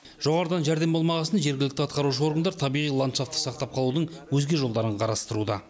жоғарыдан жәрдем болмағасын жергілікті атқарушы органдар табиғи ландшафтты сақтап қалудың өзге жолдарын қарастыруда